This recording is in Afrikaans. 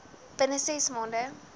binne ses maande